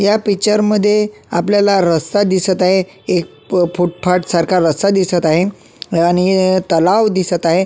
या पिक्चर मध्ये आपल्याला रस्ता दिसात आहे एक फुटपाथ सारखा रस्ता दिसत आहे आणि तलाव दिसत आहे.